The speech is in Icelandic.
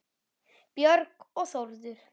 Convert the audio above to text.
Björg og Þórður.